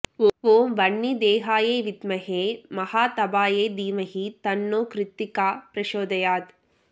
ஓம் வன்னி தேஹாயை வித்மஹே மஹாதபாயை தீமஹி தன்னோ க்ருத்திகா ப்ரசோதயாத்